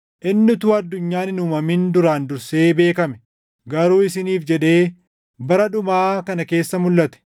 Inni utuu addunyaan hin uumamin duraan dursee beekame; garuu isiniif jedhee bara dhumaa kana keessa mulʼate.